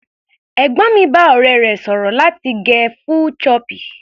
Ẹ̀gbọ́n mi bá ọ̀rẹ́ rẹ̀ sọ̀rọ̀ láti gẹ full choppy.